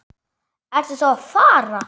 Ertu þá að fara?